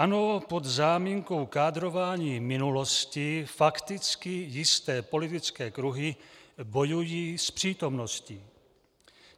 Ano, pod záminkou kádrování minulosti fakticky jisté politické kruhy bojují s přítomností.